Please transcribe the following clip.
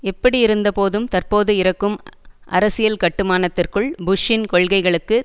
எப்படியிருந்தபோதும் தற்போது இருக்கும் அரசியல் கட்டுமானத்திற்குள் புஷ்ஷின் கொள்கைகளுக்கு